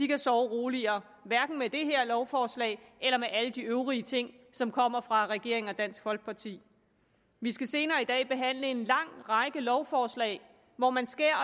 kan sove roligere hverken med det her lovforslag eller med alle de øvrige ting som kommer fra regeringen og dansk folkeparti vi skal senere i dag behandle en lang række lovforslag hvor man skærer